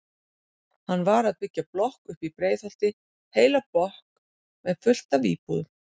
Hann var að byggja blokk uppi í Breiðholti, heila blokk með fullt af íbúðum.